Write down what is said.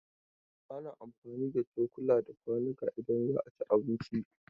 Ana amfani da cukula da kwanuka idan za a ci abinci.